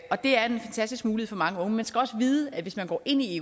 og det er en fantastisk mulighed for mange unge man skal også vide at hvis man går ind i